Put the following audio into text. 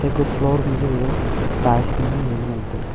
ika floor ma ja gaga tiles nyemle la ngantaga.